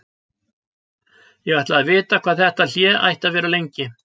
Ég ætlaði að vita hvað þetta hlé ætti að vera lengi.